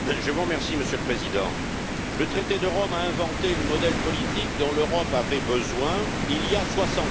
Monsieur le Président, le traité de Rome a inventé le modèle politique dont l'Europe avait besoin il y a 60 ans.